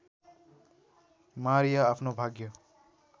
Maria आफ्नो भाग्य